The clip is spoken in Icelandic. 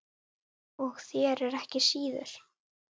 Og þér ekki síður